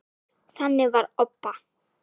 Þannig var Obba.